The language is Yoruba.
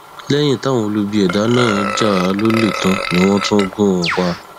lẹyìn táwọn olubi ẹdá náà já a lólè tán ni wọn tún gún un pa